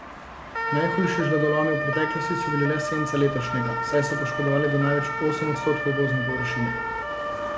Najhujši žledolomi v preteklosti so bili le senca letošnjega, saj so poškodovali do največ osem odstotkov gozdne površine.